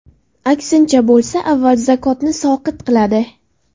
Aksincha bo‘lsa, avval zakotni soqit qiladi.